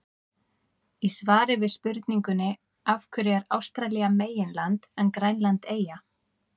Í svari við spurningunni Af hverju er Ástralía meginland en Grænland eyja?